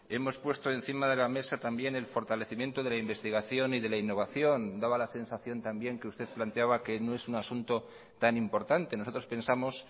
hemos puesto encima de la mesa también el fortalecimiento de la investigación y de la innovación daba la sensación también que usted planteaba que no es un asunto tan importante nosotros pensamos